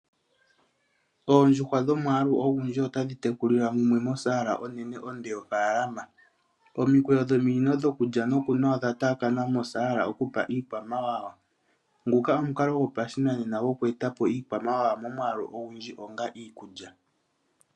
Oondjuhwa dhomwaalu ogundji otadhi tekulilwa mumwe mosaala onene onde yofaalama. Omikweyo dhominino dhokulya nokunwa odha taakana mosaala okupa iikwamawawa. Nguka omukalo gwopashinanena gwokweeta po iikwamawawa momwaalu ogundji onga iikulya.